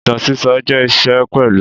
Ìtàn sísọ jẹ́ iṣẹ́ pẹ̀lú